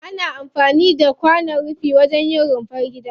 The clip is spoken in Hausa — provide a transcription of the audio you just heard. Ana amfani da kwanon rufi wajen yin rumfar gida.